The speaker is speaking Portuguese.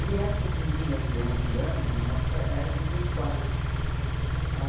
E essas meninas de onze anos, nós éramos em quatro ãh.